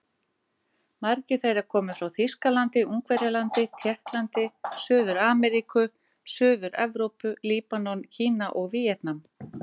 Margir þeirra komu frá Þýskalandi, Ungverjalandi, Tékklandi, Suður-Ameríku, Suður-Evrópu, Líbanon, Kína og Víetnam.